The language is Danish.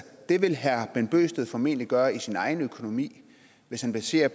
det vil herre bent bøgsted formentlig gøre i sin egen økonomi hvis han baserer